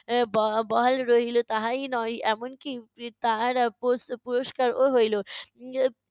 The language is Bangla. আহ ব~ বহাল রহিল তাহাই নয়, এমনকি তাহারা প~ পুরষ্কারও হইলো।